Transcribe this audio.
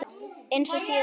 Eins og síðast?